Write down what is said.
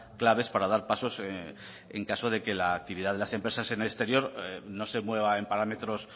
claves para dar pasos en caso de que la actividad de las empresas en el exterior no se mueva en parámetros